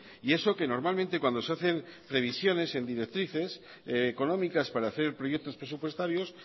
y eso que normalmente cuando se hacen previsiones en directrices económicas para hacer proyectos presupuestarios